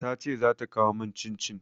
Ta ce za ta kawo min cin-cin.